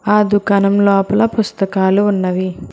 ఆ దుకాణం లోపల పుస్తకాలు ఉన్నవి.